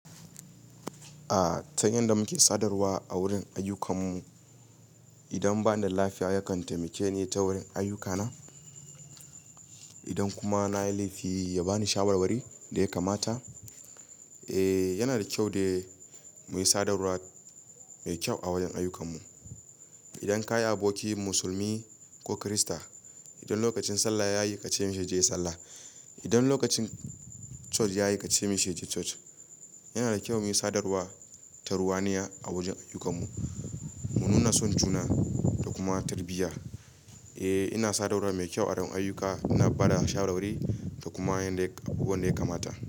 Aa, ta yanda muke sadarwa a wurin ayyukan mu. Idan bani da lafiya, ya kan taimake ni ta wurin ayyuka na. Idan kuma na yi laifi, ya ba ni shawarwari da ya kamata. Eh, yana da kyau dai muyi sadarwa mai kyau a wajen ayyukan mu. Idan ka yi aboki musulmi ko kirista, idan lokacin sallah ya yi, ka ce mishi yaje yai sallah. Idan lokacin church yayi ka ce mishi yaje church. Yana da kyau muyi sadarwa tarwaniya a wajen ayyukan mu, mu nuna son juna da kuma tarbiyya. Eh, ina sadarwa mai kyau a wurin ayuka, ina bada shawarwari da kuma yanda-- abubuwan da ya kamata.